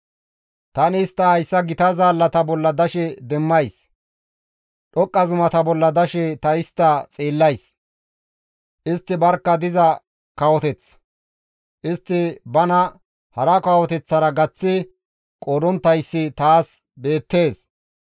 Tani istta hayta gita zaallata bolla dashe demmays; dhoqqa zumata bolla dashe ta istta xeellays; istti barkka diza kawoteth; istti bana hara kawoteththara gaththi qoodonttayssi taas beettees.